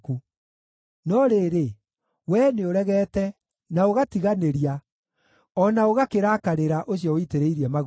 No rĩrĩ, wee nĩũregete, na ũgatiganĩria, o na ũgakĩrakarĩra ũcio ũitĩrĩirie maguta.